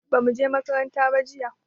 bamu je makaranta ba jiya